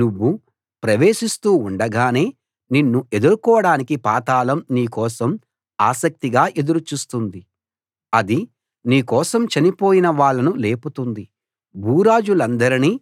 నువ్వు ప్రవేశిస్తూ ఉండగానే నిన్ను ఎదుర్కోడానికి పాతాళం నీ కోసం ఆసక్తిగా ఎదురు చూస్తోంది అది నీ కోసం చనిపోయిన వాళ్ళను లేపుతోంది భూరాజులందరినీ